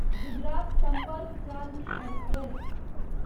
Gujarat Sampark Kranti express